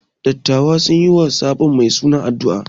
Dattawan sun yi wa sabon mai suna addu’a.